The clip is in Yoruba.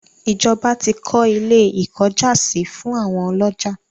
ìjọba tí kọ́ ilé - ìkọ́jàsí fún àwọn ọlọ́jà.